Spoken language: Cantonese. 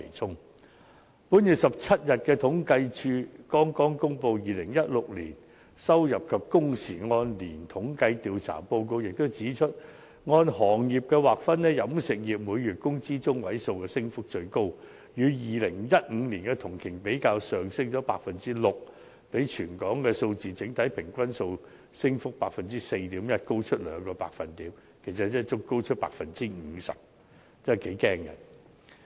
政府統計處剛在本月17日公布的《2016年收入及工時按年統計調查報告》也指出，按行業劃分，飲食業每月工資中位數的升幅最高，與2015年同期比較上升了 6%， 比全港數字的整體平均 4.1% 的升幅高出兩個百分點，其實即高出了 50%， 升幅頗為驚人。